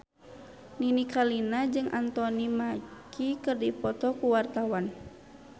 Nini Carlina jeung Anthony Mackie keur dipoto ku wartawan